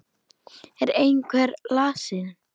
Er einhver lasinn?